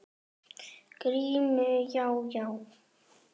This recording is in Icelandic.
GRÍMUR: Já, já!